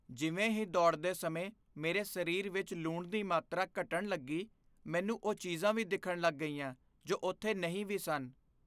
ਜਿਵੇਂ ਹੀ ਦੌੜਦੇ ਸਮੇਂ ਮੇਰੇ ਸਰੀਰ ਵਿੱਚ ਲੂਣ ਦੀ ਮਾਤਰਾ ਘਟਣ ਲੱਗੀ, ਮੈਨੂੰ ਉਹ ਚੀਜ਼ਾਂ ਵੀ ਦਿਖਣ ਲੱਗ ਗਈਆਂ ਜੋ ਉੱਥੇ ਨਹੀਂ ਵੀ ਸਨ।